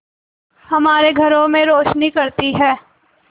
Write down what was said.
हमारे घरों में रोशनी करती है